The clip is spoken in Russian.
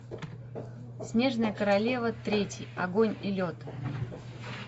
снежная королева третий огонь и лед